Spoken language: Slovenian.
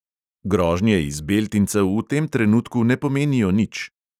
Grožnje iz beltincev v tem trenutku ne pomenijo nič.